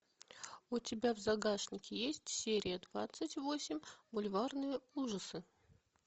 у тебя в загашнике есть серия двадцать восемь бульварные ужасы